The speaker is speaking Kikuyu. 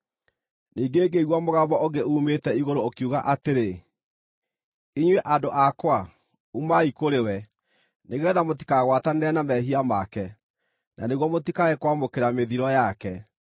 Ningĩ ngĩigua mũgambo ũngĩ uumĩte igũrũ ũkiuga atĩrĩ: “Inyuĩ andũ akwa, umai kũrĩ we, nĩgeetha mũtikagwatanĩre na mehia make, na nĩguo mũtikae kwamũkĩra mĩthiro yake;